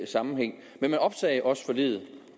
sammenhæng men man opsagde også forliget